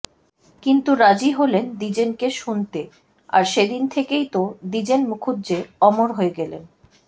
কিন্ত্ত রাজি হলেন দ্বিজেনকে শুনতে আর সে দিন থেকেই তো দ্বিজেন মুখুজ্জে অমর হয়ে গেলেন